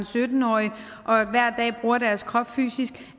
sytten årige og hver dag bruger deres krop fysisk